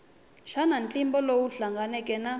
xana ntlimbo lowu hlanganeke na